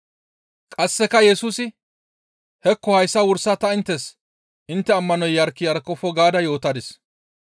Qasseka Yesusi, «Hekko hayssa wursa ta inttes intte ammanoy yark yarkofo gaada yootadis.